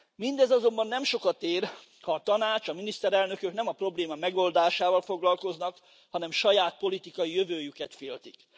Mindez azonban nem sokat ér, ha a Tanács, a miniszterelnökök nem a probléma megoldásával foglalkoznak, hanem saját politikai jövőjüket féltik.